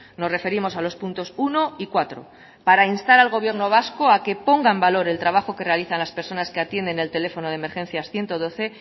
nos referimos a los puntos uno y cuatro para instar al gobierno vasco a que ponga en valor el trabajo que realizan las personas que atienden el teléfono de emergencias ciento doce